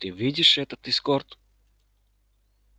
ты видишь этот эскорт